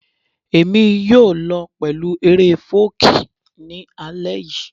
Èmi yóò lọ pẹ̀lú eré fọ́ọ̀kí ní alẹ́ yìí